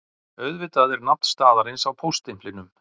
Auðvitað er nafn staðarins á póststimplinum